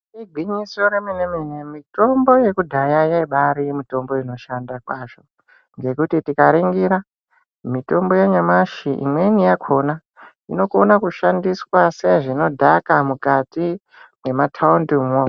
Igwinyiso remene mene mitombo yekudhaya yaayiri mitombo yaibaashanda kwazvo ngekuti tikaringira mitombo yanyamashi imweni yakhona inokona kushandiswa sezvinodhaka mukati mwemathaundimwo.